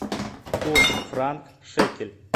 курс франк шекель